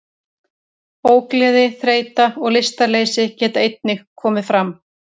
Ógleði, þreyta og lystarleysi geta einnig komið fram.